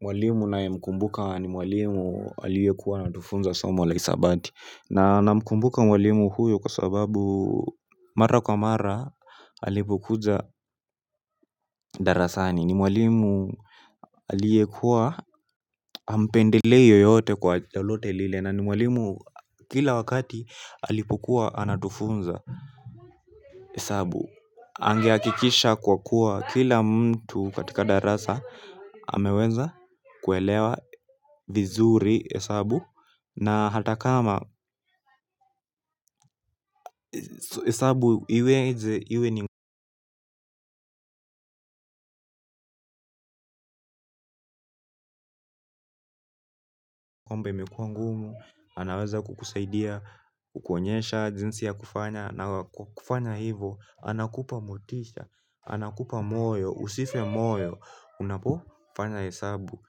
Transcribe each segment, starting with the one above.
Mwalimu ninaye mkumbuka ni mwalimu aliyekua anatufunza somo la hisabati. Na namkumbuka mwalimu huyo kwa sababu mara kwa mara alipokuja darasani, ni mwalimu aliyekuwa hampendelei yeyote kwa lolote lile, na ni mwalimu kila wakati alipokuwa anatufunza hesabu. Ange hakikisha kwa kuwa kila mtu katika darasa ameweza kuelewa vizuri hesabu. Na hata kama, hesabu iweze iwe ni kwamba imekuwa ngumu, anaweza kukusaidia, kukuonyesha jinsi ya kufanya. Na kufanya hivo, anakupa motisha, anakupa moyo, usife moyo. Unapokufanya hesabu.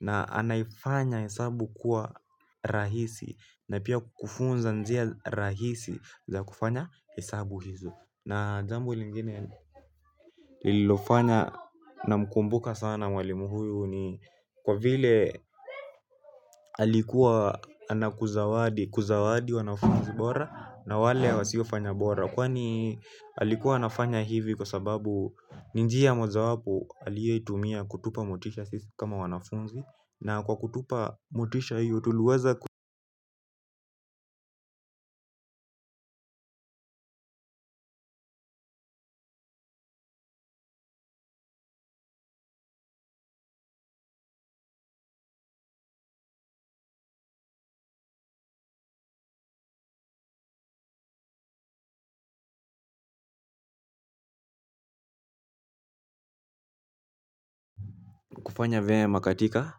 Na anafanya hesabu kuwa rahisi. Na pia kufunza njia rahisi za kufanya hesabu hizo. Na jambo lingine lilofanya namkumbuka sana mwalimu huyo ni kwa vile alikuwa anakuzawadi, kuzawadi wanafunzi bora na wale wasiofanya bora. Kwani alikuwa anafanya hivi. Kwa sababu ni njia mojawapo aliyeitumia kutupa motisha sisi kama wanafunzi. Na kwa kutupa motisha hiyo tuliweza kufanya vyema katika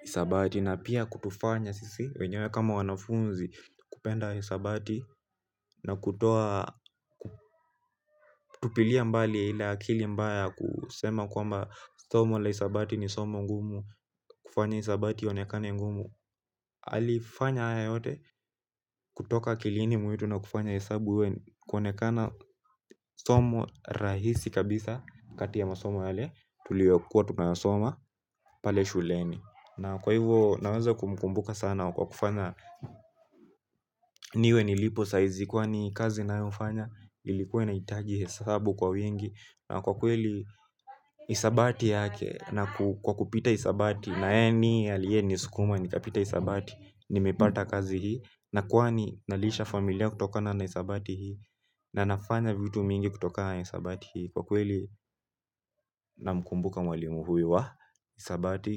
hisabati na pia kutufanya sisi wenyewe kama wanafunzi, kupenda hisabati na kutoa kutupilia mbali ile akili mbaya ya kusema kwamba somo la hisabati ni somo ngumu. Kufanya hisabati ionekane ngumu. Alifanya haya yote kutoka akilini mwetu na kufanya hesabu kuonekana somo rahisi kabisa, kati ya masomo yale tuliokuwa tunayasoma pale shuleni. Na kwa hivo naweza kumkumbuka sana kwa kufanya niwe nilipo saa hizi. Kwani kazi ninayofanya, ilikuwa inahitagi hesabu kwa wengi na kwa kweli. Hisabati yake, na kwa kupita hisabati naye ni aliye nisukuma nikapita hisabati. Nimepata kazi hii, na kwani nalisha familia kutoka na hisabati hii, na nafanya vitu mingi kutoka na hisabati hii. Kwa kweli namkumbuka mwalimu huyu wa hisabati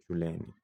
shuleni.